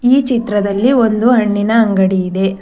ಈ ಚಿತ್ರದಲ್ಲಿ ಒಂದು ಹಣ್ಣಿನ ಅಂಗಡಿ ಇದೆ.